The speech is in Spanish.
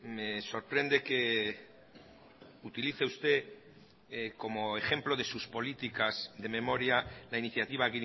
me sorprende que utilice usted como ejemplo de sus políticas de memoria la iniciativa